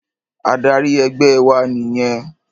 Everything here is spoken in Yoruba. Adarí ẹgbẹ́ wa nìyẹn.